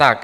Tak.